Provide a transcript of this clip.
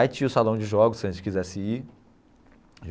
Aí tinha o salão de jogos, se a gente quisesse ir.